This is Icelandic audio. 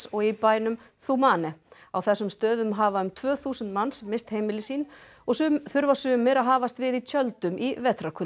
og í bænum Thumane á þessum stöðum hafa um tvö þúsund manns misst heimili sín og þurfa sumir að hafast við í tjöldum í